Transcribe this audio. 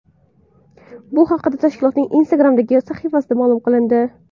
Bu haqda tashkilotning Instagram’dagi sahifasida ma’lum qilindi.